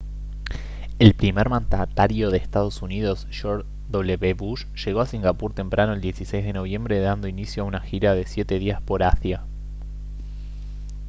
el primer mandatario de ee uu george w bush llegó a singapur temprano el 16 de noviembre dando inicio a una gira de siete días por asia